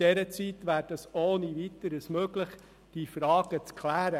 In dieser Zeit wäre es ohne Weiteres möglich, diese Frage zu klären.